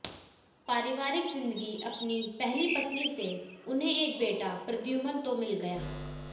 पारिवारिक जि़ंदगीअपनी पहली पत्नी से उन्हें एक बेटा प्रद्युमन तो मिल गया